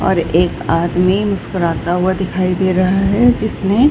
और एक आदमी मुस्कुराता हुआ दिखाई दे रहा है जिसने --